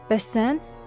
Bəs sən?